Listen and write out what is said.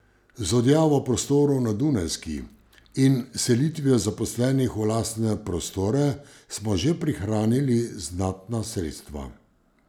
Z odjavo prostorov na Dunajski in selitvijo zaposlenih v lastne prostore smo že prihranili znatna sredstva.